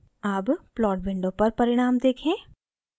अब plot window पर परिणाम देखें